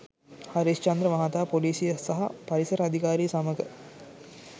හරිස්චන්‍ද්‍ර මහතා පොලීසිය සහ පරිසර අධිකාරිය සමඟ